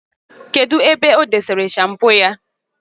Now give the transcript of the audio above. Kedu ebe odosiri shampoo ya?